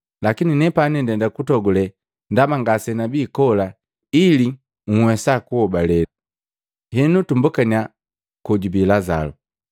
lakini nepani ndenda kutogule, ndaba ngasenabi kola, ili nhwesa kuhobale. Henu tubokaniya kojubi Lazalu.”